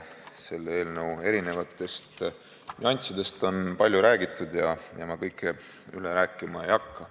Selle eelnõu erinevatest nüanssidest on palju räägitud ja ma ei hakka kõike üle kordama.